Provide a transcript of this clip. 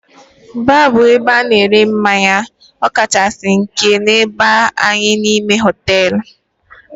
Baar bụ ebe ana ere mmanya okachasi nke na-aba n'anya, n'ime hotelú.